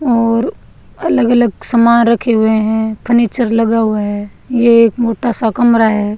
और अलग अलग समान रखे हुए हैं फर्नीचर लगा हुआ है ये एक मोटा सा कमरा है।